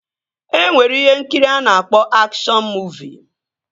E nwere ihe nkiri a na-akpọ akshọn muuvi